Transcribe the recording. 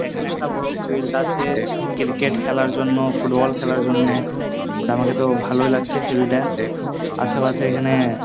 এখানে একটা বড় ফিল্ড আছে ক্রিকেট খেলার জন্য ফুটবল খেলার জন্য ওটা আমাকে তো ভালই লাগছে ফিল্ড -টা আশেপাশে এখানে --